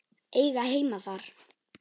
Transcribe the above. Eiga heima þar?